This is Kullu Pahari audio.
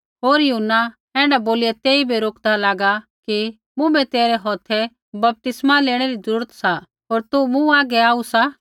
पर यूहन्ना ऐण्ढै बोलिया तेइबै रोकदा लागा कि मुँभै तेरै हौथै बपतिस्मा लेणै री ज़रूरत सा होर तू मूँ हागै आऊ सा